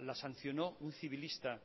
la sancionó un civilista